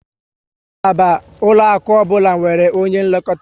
Ngalaba ụlọaku ọbụla nwere onye nlekọta